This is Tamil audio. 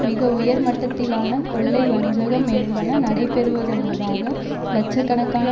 மிக உயர் மட்டத்திலான கொள்ளை வஞ்சகம் என்பன நடைபெறுவதனூடாக இலட்ச கணக்கான